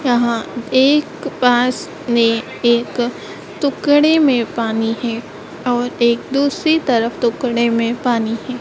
यहाँ एक बांस में एक टुकड़े में पानी है और एक दूसरी तरफ टुकड़े में पानी है।